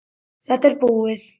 Þetta er búið!